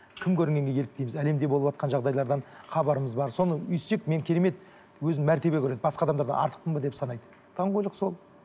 кім көрінгенге еліктейміз әлемде болыватқан жағдайлардан хабарымыз бар соны өйстсек мен керемет өзін мәртебе көреді басқа адамдардан артықпын ба деп санайды даңғойлық сол